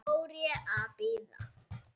Svo fór ég að bíða.